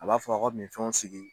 A b'a fɔ a ka min fɛnw sigi.